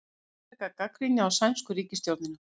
Ítreka gagnrýni á sænsku ríkisstjórnina